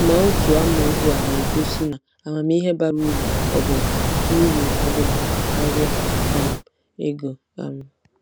Ma otu amaokwu a na-egosi na amamihe bara uru ọbụna uru ọbụna karịa um ego um.